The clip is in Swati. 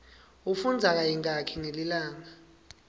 ufundza kayingaki ngelilanga